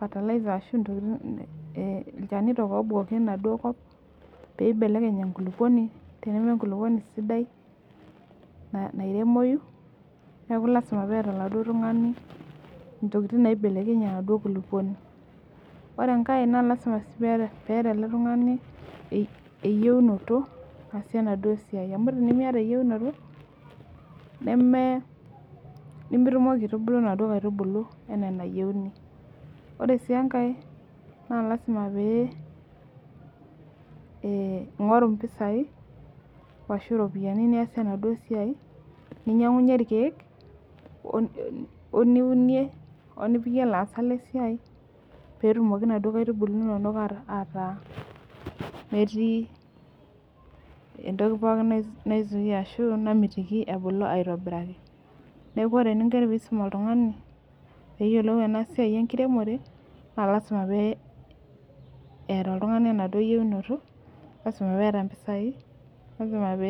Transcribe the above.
olchanito ibukoki obukoki naduo kop paibelekeny enkulukuoni teneenkulukuoni sidai nairemoi neaku lasima peeta oladuo tungani nitokitin naibelekenyie enaduo kulukuoni ore enkae na lasima peeta eletungani eyiounoto naasie enaduo siai amu tenimiata eyieunoto nemitukokibaitubulu naduo aitubulu ana enayieuni ore enkae na lasima pe ingori mpisai ashu ropiyani niasie enaduo siai ninyangunye irkiek oniunie ,olipikie laasak lesiai petumoki naduo aitubulu inonok ataa ketii toki namitiki ebulu aitobiraki neaku ore eninko pisum oltungani peyiolou enasia enkiremore na lasima peeta oltungani inayienoto, lasima leeta mpisai.